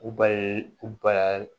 U ba ye u ba ye